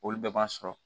Olu bɛɛ b'an sɔrɔ